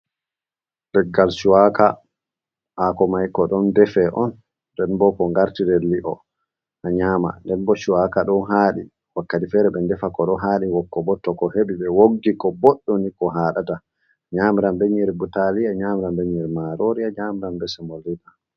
Leggal cuwaaka haako may ko ɗon defe on, nden bo ko ngartire li'o a nyaama. Nden bo cuwaaka ɗon haaɗi wakkati fere ɓe defa ko ɗon haaɗi. Wokko bo to ko heɓi ɓe woggi ko, boɗɗum ni ko haɗata .A nyamiran be nyiiri butaali,a nyamiran be nyiiri maroori,a nyamiran be semoliina.